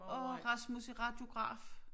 Og Rasmus er radiograf